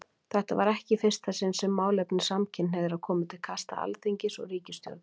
Þetta var ekki í fyrsta sinn sem málefni samkynhneigðra komu til kasta Alþingis og ríkisstjórnar.